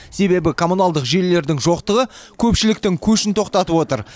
себебі коммуналдық желілердің жоқтығы көпшіліктің көшін тоқтатып отыр